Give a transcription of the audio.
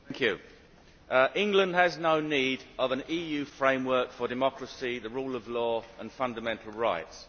Madam President, England has no need of an EU framework for democracy, the rule of law and fundamental rights.